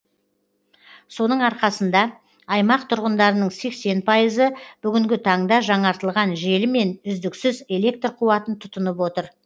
соның арқасында аймақ тұрғындарының сексен пайызы бүгінгі таңда жаңартылған желімен үздіксіз электр қуатын тұтынып отыр